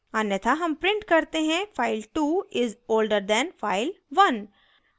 अन्यथा हम print करते हैं file2 is older than file1